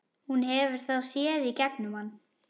Hún hefur þá séð í gegnum hann.